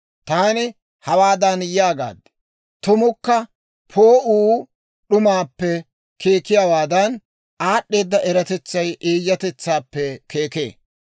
Taani hawaadan yaagaad; «Tumukka poo'uu d'umaappe keekiyaawaadan, aad'd'eeda eratetsay eeyyatetsaappe keekee.